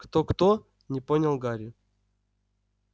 кто-кто не понял гарри